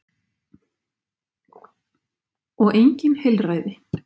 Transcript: Og engin heilræði.